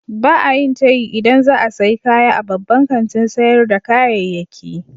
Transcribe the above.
Ba a yin tayi idan za a sayi kaya a babban kantin sayar da kayayyaki.